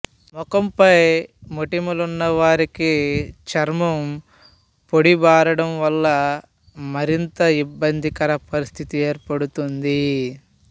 ముఖంపై మొటిమలున్నవారికి చర్మం పొడిబారడం వల్ల మరింత ఇబ్బందికర పరిస్థితి ఏర్పడుతుంది